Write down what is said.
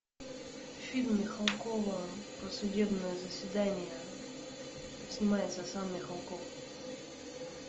фильм михалкова про судебное заседание снимается сам михалков